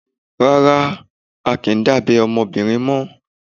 Rárá, a kìí dábẹ́ ọmọbìnrin mọ́.